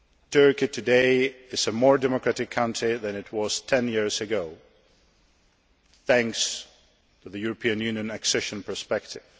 country. Turkey today is a more democratic country than it was ten years ago thanks to the European Union accession perspective.